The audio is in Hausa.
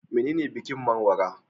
Menene bikin Menwara?